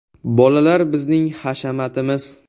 “Bolalar bizning hashamatimiz.